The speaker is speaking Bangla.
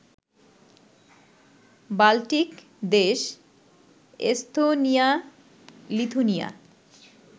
বাল্টিক দেশ এস্তোনিয়া, লিথুনিয়া